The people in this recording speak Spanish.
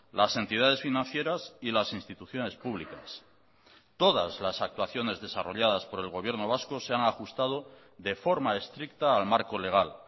las entidades financieras y las instituciones públicas todas las actuaciones desarrolladas por el gobierno vasco se han ajustado de forma estricta al marco legal